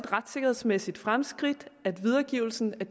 retssikkerhedsmæssigt fremskridt at videregivelsen af